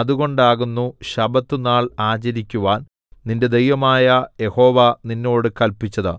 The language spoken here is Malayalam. അതുകൊണ്ടാകുന്നു ശബ്ബത്തുനാൾ ആചരിക്കുവാൻ നിന്റെ ദൈവമായ യഹോവ നിന്നോട് കല്പിച്ചത്